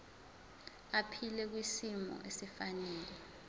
aphile kwisimo esifanele